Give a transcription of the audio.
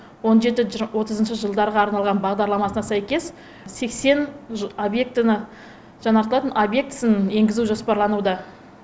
он жеті отызыншы жылдарға арналған бағдарламасына сәйкес сексен объектіні жаңартылатын объектісін енгізу жоспарлануда